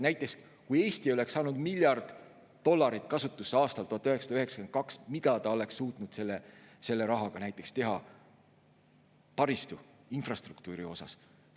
Näiteks, kui Eesti oleks saanud miljard dollarit kasutusse aastal 1992, mida ta oleks suutnud selle rahaga teha taristu, infrastruktuuri koha pealt?